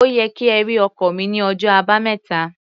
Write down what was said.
Ó yẹ kí ẹ rí ọkọ́ mi ní ọjọ́ Àbámẹ́ta.